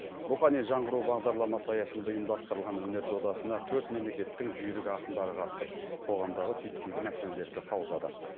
рухани жаңғыру бағдарламасы аясында ұйымдастырылған өнер додасына төрт мемлекеттің жүйрік ақындары қатысып қоғамдағы түйткілді мәселелерді қаузады